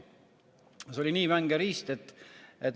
See oli nii vänge riist.